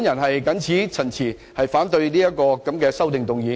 我謹此陳辭，反對此項修正案。